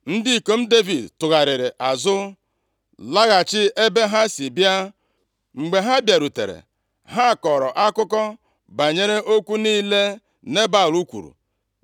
Ndị ikom Devid tụgharịrị azụ laghachi ebe ha si bịa. Mgbe ha bịarutere, ha kọrọ akụkọ banyere okwu niile Nebal kwuru.